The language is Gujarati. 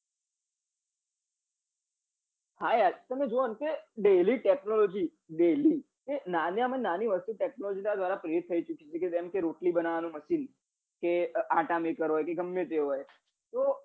હા યાર તમે જોવો ને કે daily technology daily એ નાના માં નાની વસ્તુ technology દ્વારા થઇ ચુકી છે જેમ કે રોટલી બનવવા નું machine કે આટા maker હોય કે ગમે તે હોય